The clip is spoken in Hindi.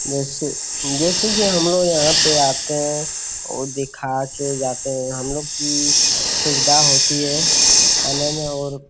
जैसे जैसे की हमलोग यहाँ पे आते हैं और दिखा के जाते हैं | हमलोग की सुविधा होती है आने में और --